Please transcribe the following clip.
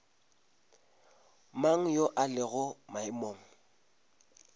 mang yo a lego maemong